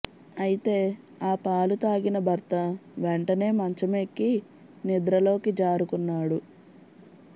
అయితే ఆ పాలు తాగిన భర్త వెంటనే మంచమెక్కి నిద్రలోకి జారుకున్నాడు